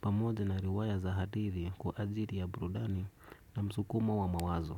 pamoja na riwaya za hadithi kwa ajili ya burudani na msukumo wa mawazo.